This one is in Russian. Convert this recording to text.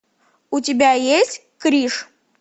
у тебя есть крриш